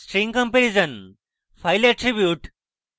string comparison file attributes